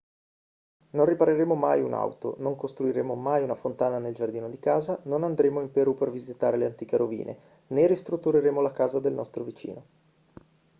non ripareremo mai un'auto non costruiremo mai una fontana nel giardino di casa non andremo in perù per visitare le antiche rovine né ristruttureremo la casa del nostro vicino